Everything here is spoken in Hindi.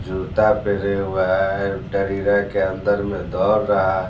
जूता पेरे हुआ है दरीरा के अंदर में दौड़ रहा --